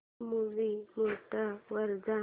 movie mode वर जा